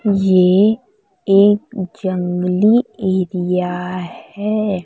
ये एक जंगली एरिया है।